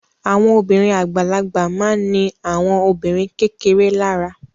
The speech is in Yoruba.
Àwọn obìnrin àgbàlagbà ma ní àwọn obìnrin kékeré lára